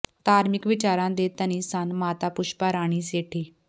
ਧਾਰਮਿਕ ਵਿਚਾਰਾਂ ਦੇ ਧਨੀ ਸਨ ਮਾਤਾ ਪੁਸ਼ਪਾ ਰਾਣੀ ਸੇਠੀ